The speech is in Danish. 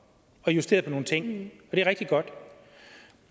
og justeret på nogle ting det er rigtig godt